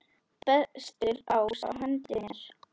Bestur ás á hendi mér.